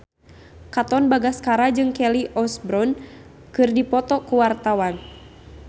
Katon Bagaskara jeung Kelly Osbourne keur dipoto ku wartawan